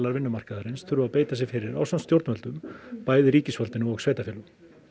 vinnumarkaðarins þurfa að beita sér fyrir ásamt stjórnvöldum bæði ríkisvaldinu og sveitarfélögum